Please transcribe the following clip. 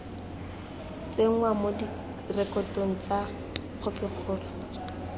tsenngwa mo direkotong tsa khopikgolo